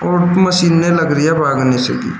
और मशीनें लग रही हैं वराणसी की।